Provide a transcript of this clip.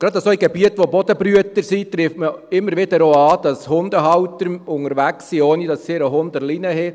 Gerade in Gebieten mit Bodenbrütern trifft man immer wieder Hundehalter an, die ihre Hunde nicht an der Leine führen.